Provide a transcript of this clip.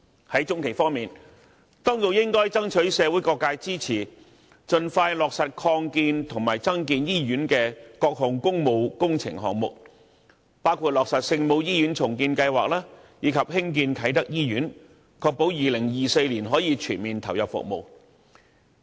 在中期方面，當局應該爭取社會各界支持，盡快落實擴建和增建醫院的各項工務工程項目，包括落實聖母醫院重建計劃，以及興建啟德醫院，確保2024年可全面投入服務。